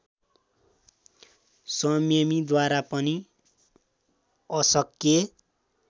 संयमीद्वारा पनि अशक्य